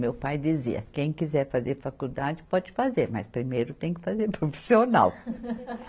Meu pai dizia, quem quiser fazer faculdade pode fazer, mas primeiro tem que fazer profissional.